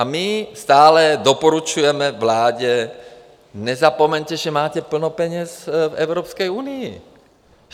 A my stále doporučujeme vládě: nezapomeňte, že máte plno peněz v Evropské unii.